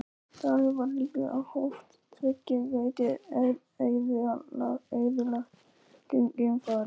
Talið var líklegt, að hvort tveggja gæti eyðilagt geimfarið.